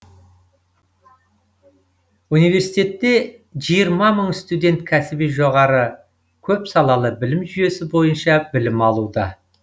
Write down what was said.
университетте жиырма мың студент кәсіби жоғары көпсалалы білім жүйесі бойынша білім алуда